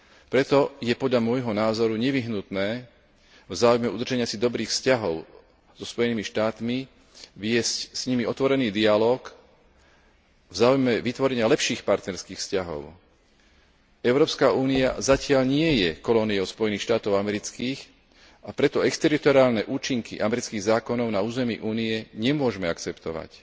Preto je podľa môjho názoru nevyhnutné v záujme udržania si dobrých vzťahov so Spojenými štátmi viesť s nimi otvorený dialóg v záujme vytvorenia lepších partnerských vzťahov. Európska únia zatiaľ nie je kolóniou Spojených štátov amerických, a preto exteritoriálne účinky amerických zákonov na území Únie nemôžme akceptovať.